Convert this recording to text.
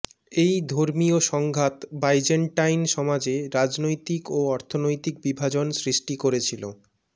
এই ধর্মীয় সংঘাত বাইজেন্টাইন সমাজে রাজনৈতিক ও অর্থনৈতিক বিভাজন সৃষ্টি করেছিল